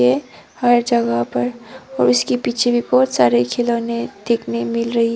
हर जगह पर और उसके पीछे भी बहुत सारे खिलौने देखने मिल रही--